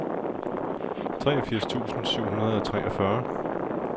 treogfirs tusind syv hundrede og treogfyrre